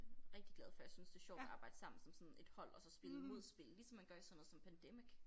Rigtig glad for jeg synes det sjovt at arbejde sammen som sådan et hold og så spille mod spillet ligesom man gør i sådan noget som Pandemic